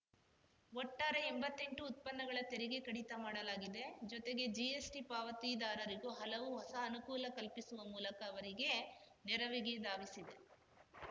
ಒಟ್ಟಾರೆ ಎಂಬತ್ತೆಂಟು ಉತ್ಪನ್ನಗಳ ತೆರಿಗೆ ಕಡಿತ ಮಾಡಲಾಗಿದೆ ಜೊತೆಗೆ ಜಿಎಸ್‌ಟಿ ಪಾವತಿದಾರರಿಗೂ ಹಲವು ಹೊಸ ಅನುಕೂಲ ಕಲ್ಪಿಸುವ ಮೂಲಕ ಅವರಿಗೆ ನೆರವಿಗೆ ಧಾವಿಸಿದೆ